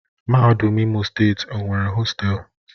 Mahadum Imo Steeti o nwere hostelu?